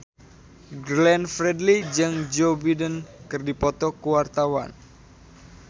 Glenn Fredly jeung Joe Biden keur dipoto ku wartawan